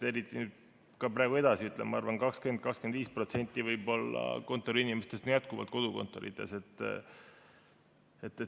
Ka praegu, ma arvan, on 20–25% kontoriinimestest edasi jätkuvalt kodukontoris.